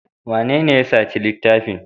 Wanene ya saci littafin?